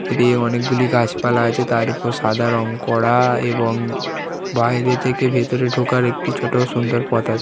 এদিকে অনেকগুলি গাছপালা আছে তার উপর সাদা রং করা এবং বাইরে থেকে ভেতরে ঢোকার একটি ছোট সুন্দর পথ আছে।